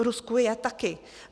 V Rusku je taky.